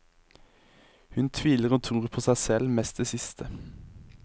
Hun tviler og tror på seg selv, mest det siste.